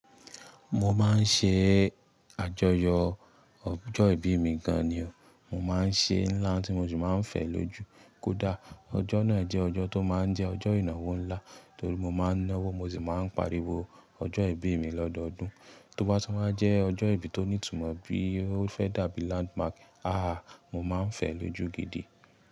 Mo máa ń ṣe àjọyọ̀ ọjọ́ ìbí mi gan ni o. Mo máa ń ṣe ńlá tí mo sì máa ń fẹ́ lójú. Kódà ọjọ́ náà jẹ́ ọjọ́ tó máa ń jẹ́ ọjọ́ ìnáwó ńlá torí mo máa ń náwó mo sì máa ń pariwo ọjọ́ ìbí mi lọ́dọọdún. Tó bá tun wa jẹ́ ọjọ́ ìbí tó ní ìtumọ̀ bí ó fẹ́ dàbí landmark, àhàhà, mo máa ń fẹ́ lójú gidi.